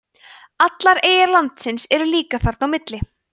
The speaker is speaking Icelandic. allar eyjar landsins eru líka þarna á milli